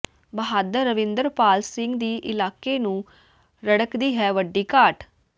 ਬਹਾਦਰ ਰਵਿੰਦਰਪਾਲ ਸਿੰਘ ਦੀ ਇਲਾਕੇ ਨੂੰ ਰੜਕਦੀ ਹੈ ਵੱਡੀ ਘਾਟ